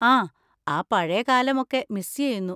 ആ, ആ പഴയ കാലമൊക്കെ മിസ് ചെയ്യുന്നു.